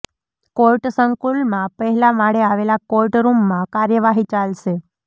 court સંકુલમાં પહેલા માળે આવેલા કોર્ટ રૂમમાં કાર્યવાહી ચાલશે